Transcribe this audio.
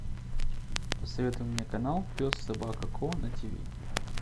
посоветуй мне канал пес собака ко на тв